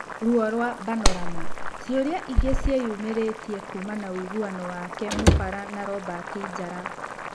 Ruo rwa Banorama: Ciũria ingĩ nĩciĩyumĩrĩtie kuuma ũiguano wake Mũbara na Robert Njara.